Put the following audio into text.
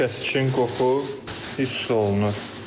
Kəsikin qoxu hiss olunur.